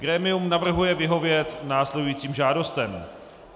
Grémium navrhuje vyhovět následujícím žádostem: